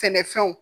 Sɛnɛfɛnw